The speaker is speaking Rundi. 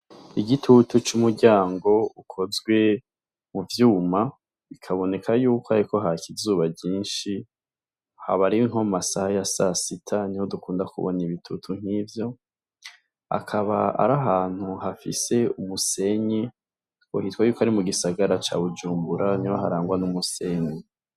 Igitutu c'umuryango ukozwe mu vyuma bikaboneka yuko hariko haka izuba ryinshi, haba ari nko mu masaha ya sasita niho dukunda kubona ibitutu nk'ivyo akaba ari ahantu hafise umusenyi, ngo hitwa yuko ari mu gisagara ca Bujumbura niho harangwa n'umusenyi.